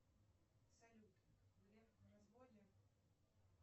салют греф в разводе